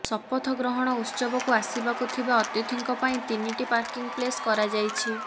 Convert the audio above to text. ଶପଥ ଗ୍ରହଣ ଉତ୍ସବକୁ ଆସିବାକୁ ଥିବା ଅତିଥିଙ୍କ ପାଇଁ ତିନିଟି ପାର୍କିଂ ପ୍ଲେସ୍ କରାଯାଇଛି